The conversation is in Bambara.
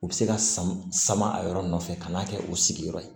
U bɛ se ka sama a yɔrɔ nɔfɛ ka n'a kɛ u sigiyɔrɔ ye